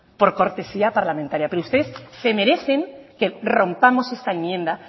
por cortesía parlamentaria pero ustedes se merecen que rompamos esta enmienda